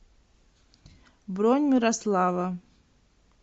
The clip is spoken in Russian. бронь мирослава